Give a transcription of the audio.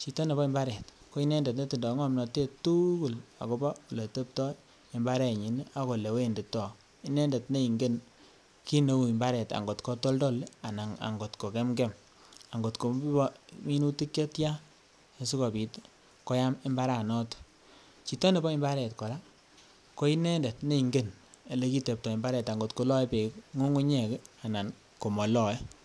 chito nebo imbaret ko inendet ne tindo komnotet tugul akobo ole tebto imbarenyin ak ole wendito inendet ne ingen kit neuu imbaret angot ko toldol anan akot ko kemkem, ngot koibe minutik che tyan asikopit koyam imbara noton, chito nebo imbaret koraa ko inendet ne ingen ole kitepto imbaret angot ko loe beek ngungunyek anan komoloe